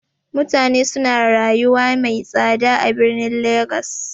Mutane suna rayuwa mai tsada a birnin legas.